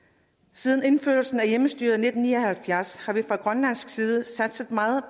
siden indførelsen af hjemmestyret i nitten ni og halvfjerds har vi fra grønlands side satset meget